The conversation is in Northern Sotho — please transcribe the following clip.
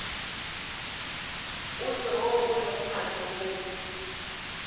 ofe woo o lego matsogong